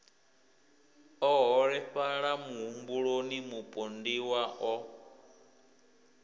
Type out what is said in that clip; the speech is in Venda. o holefhala muhumbuloni mupondiwa o